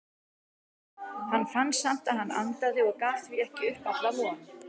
Hann fann samt að hann andaði og gaf því ekki upp alla von.